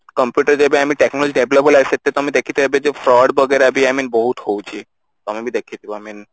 computer ଯେବେ ଆମେ technology develop ହେଲା ସେଥିରେ ତ ଆମେ ଦେଖିଥିବା ଏବେ ଯୋଉ ford ବଗେରା ବି I mean ବହୁତ ହଉଛି ତମେ ବି ଦେଖିଥିବ I mean